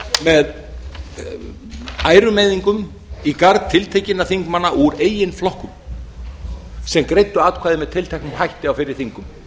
með ærumeiðingum í garð tiltekinna þingmanna úr eigin flokkum sem greiddu atkvæði með tilteknum hætti á fyrri þingum